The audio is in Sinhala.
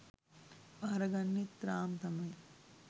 බාරගන්නෙත් රාම් තමයි